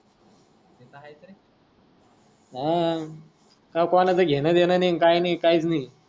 हा कोणाच घेण देन नाही आण काही नाही काहीच नाही,